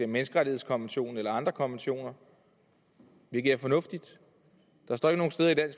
menneskerettighedskonventionen eller andre konventioner hvilket er fornuftigt